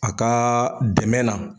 A kaa dɛmɛ na